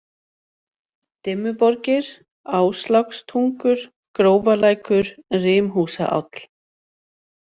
Dimmuborgir, Áslákstungur, Grófalækur, Rimhúsaáll